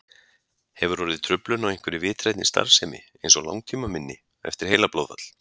Hefur orðið truflun á einhverri vitrænni starfsemi eins og langtímaminni eftir heilablóðfall?